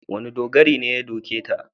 Wane dogari ne ya doke ta?